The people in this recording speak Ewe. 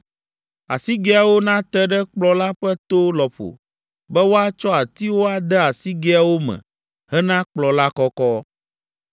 Asigɛawo nate ɖe kplɔ̃ la ƒe to lɔƒo be woatsɔ atiwo ade asigɛawo me hena kplɔ̃ la kɔkɔ.